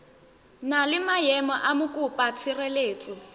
na le maemo a mokopatshireletso